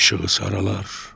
İşığı saralar.